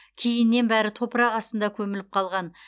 кейіннен бәрі топырақ астына көміліп қалған